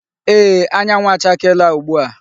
Eee, anyanwụ chakeela ugbu a.